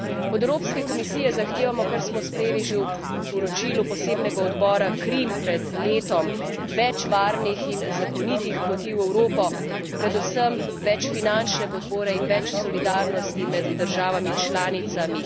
Od Evropske komisije zahtevamo, kar smo sprejeli že v poročilu Posebnega odbora CRIM pred letom, več varnih in zakonitih poti v Evropo, predvsem več finančne podpore in več solidarnosti med državami članicami.